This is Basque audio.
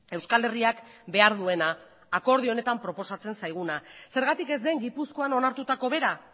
euskal herriak behar duena akordio honetan proposatzen zaiguna zergatik ez den gipuzkoan onartutako bera